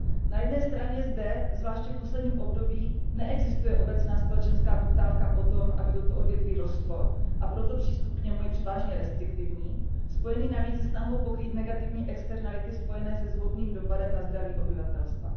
Na jedné straně zde, zvláště v posledním období, neexistuje obecná společenská poptávka po tom, aby toto odvětví rostlo, a proto přístup k němu je převážně restriktivní, spojený navíc se snahou pokrýt negativní externality spojené se zhoubným dopadem na zdraví obyvatelstva.